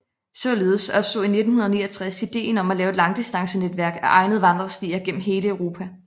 Således opstod i 1969 idéen om at lave et langdistancenetværk af egnede vandrestier gennem hele Europa